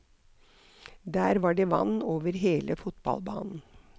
Der var det vann over hele fotballbanen.